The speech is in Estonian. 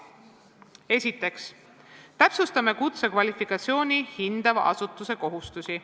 Esiteks, täpsustame kutsekvalifikatsiooni hindava asutuse kohustusi.